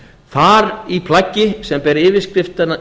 þar í plaggi sem ber yfirskriftina